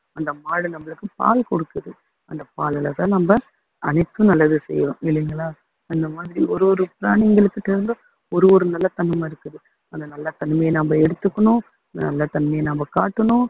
அந்த மாடு நம்மளுக்கு பால் குடுக்குது அந்த பாலுலதான் நம்ம அதுக்கு நல்லது செய்றோம் இல்லைங்களா அந்தமாதிரி ஒரு ஒரு பிராணிங்களுக்கிட்ட இருந்தும் ஒரு ஒரு நல்ல தன்மை இருக்குது அந்த நல்ல தன்மையை நாம எடுத்துக்கணும் நல்ல தன்மையை நம்ம காட்டணும்